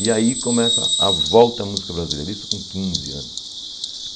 E aí começa a volta à música brasileira, isso com quinze anos.